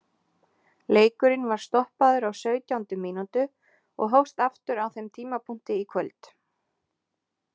Leikurinn var stoppaður á sautjándu mínútu og hófst aftur á þeim tímapunkti í kvöld.